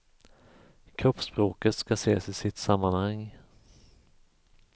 Kroppsspråket ska ses i sitt sammanhang.